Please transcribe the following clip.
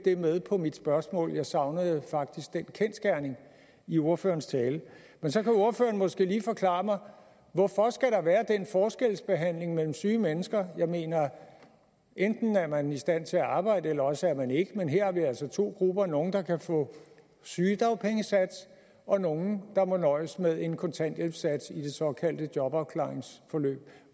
det med på mit spørgsmål jeg savnede faktisk den kendsgerning i ordførerens tale men så kan ordføreren måske lige forklare mig hvorfor skal der være den forskelsbehandling mellem syge mennesker jeg mener at enten er man i stand til at arbejde eller også er man ikke men her har vi altså to grupper nemlig nogle der kan få sygedagpengesats og nogle der må nøjes med en kontanthjælpssats i det såkaldte jobafklaringsforløb